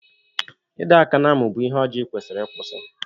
Ịdọ aka na-amụ gị bụ ihe ọjọọ ikwesiri ịkwụsị.